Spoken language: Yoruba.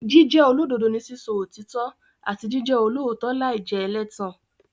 Jíjẹ́ olódodo ni sísọ òtítọ́ àti jíjẹ olóòótọ́ láì jẹ́ ẹlẹ́tàn.